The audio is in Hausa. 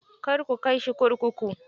Kar ku kai shi kurkuku.